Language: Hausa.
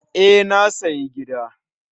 E, na siya gida